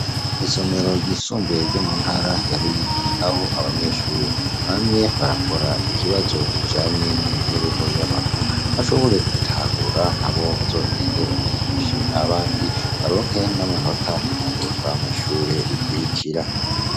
Isomero ryisumbuye ryo mu ntara ya Ruyigi, aho abanyeshuri bamye barakora ikibazo kijanye n'imibereho y'abantu, bashoboye gutahura nabo bazogende bavyigishe abandi, baronke n'amanota yo kwunguruzwa mw' ishure rikurikira.